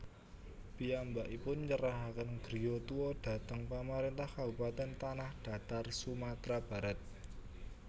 Piyambankipun nyerahaken griya tua dhateng Pamarentah Kabupaten Tanahdatar Sumatra Barat